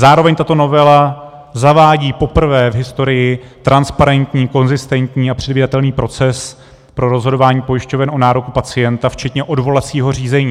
Zároveň tato novela zavádí poprvé v historii transparentní, konzistentní a předvídatelný proces pro rozhodování pojišťoven o nároku pacienta včetně odvolacího řízení.